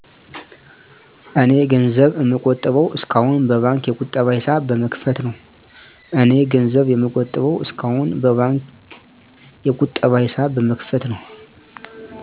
እኔ ገንዘብ እምቆጥበው እስካሁን በባንክ የቀጠባ ሂሳብ በመክፈት ነው።